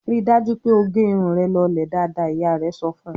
"Rí dájú pé ó gẹ irun rẹ lọlẹ̀ dáadáa!" Ìyá rẹ̀ sọ fún un.